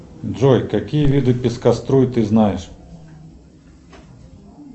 джой какие виды пескоструй ты знаешь